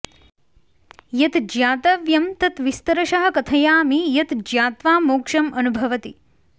यत् ज्ञातव्यं तत् विस्तरशः कथयामि यत् ज्ञात्वा मोक्षम् अनुभवति